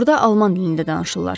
burda alman dilində danışırlar.